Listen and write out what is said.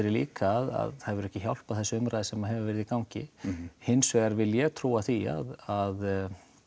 líka að það hefur ekki hjálpað þessi umræða sem hefur verið í gangi hins vegar vil ég trúa því að